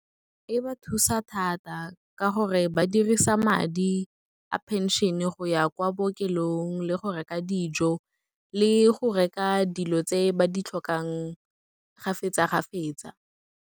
E ba thusa thata ka gore ba dirisa madi a phenšene go ya kwa bookelong, le go reka dijo, le go reka dilo tse ba di tlhokang kgafetsa-kgafetsa.